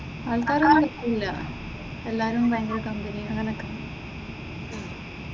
ആൾക്കാരൊന്നും കുഴപ്പമില്ല എല്ലാവരും ഭയങ്കര കമ്പനിയാ അങ്ങനെയൊക്കെ.